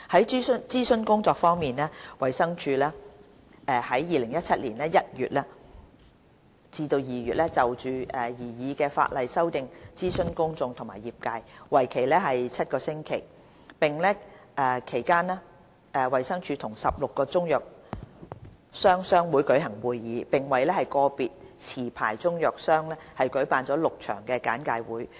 在諮詢工作方面，衞生署在2017年1月至2月就擬議修正案諮詢公眾和業界，為期7星期。其間，衞生署與16個中藥商商會舉行會議，並為個別持牌中藥商舉辦了6場簡介會。